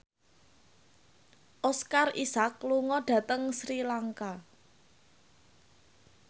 Oscar Isaac lunga dhateng Sri Lanka